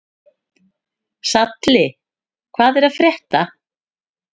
Salli, hvað er að frétta?